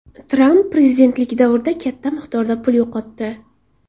Tramp prezidentlik davrida katta miqdorda pul yo‘qotdi.